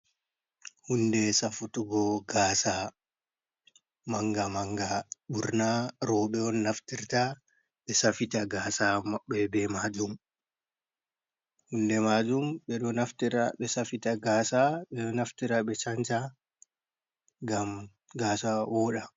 Huunde safutugo gaasa, manga manga ɓurna rooɓe on naftirta ɓe safita gaasa maɓɓe be maajum, hunde maajum ɓe ɗo naftira ɓe safita gaasa, ɓe ɗo naftira ɓe shan-sha ngam gaasa wooɗa.